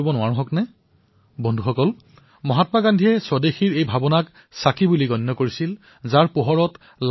আজি যি স্বতন্ত্ৰ ভাৰতত আমি শ্বাসপ্ৰশ্বাস লৈ আছো সেই ভাৰতক স্বাধীন কৰাৰ বাবে বহু সন্তানে অনেক যাতনা ভুগিবলগীয়া হৈছিল বহুতে নিজৰ প্ৰাণত্যাগ কৰিবলগীয়া হৈছিল